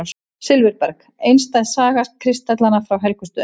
Silfurberg: einstæð saga kristallanna frá Helgustöðum.